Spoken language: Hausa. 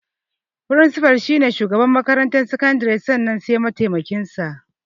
Firinsifa shi ne shugaban makarantar sakandare sannan sai mataimakin sa.